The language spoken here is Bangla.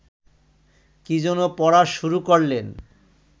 কী যেন পড়া শুরু করলেন